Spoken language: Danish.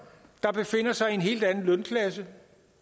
der befinder sig i en helt anden lønklasse